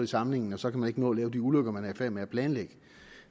samlingen og så kan man ikke nå at lave de ulykker man er i færd med at planlægge